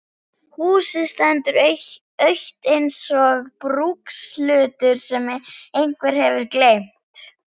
Húsið stendur autt eins og brúkshlutur sem einhver hefur gleymt.